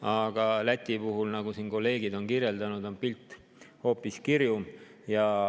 Aga Läti puhul on, nagu kolleegid on kirjeldanud, pilt hoopis kirjum.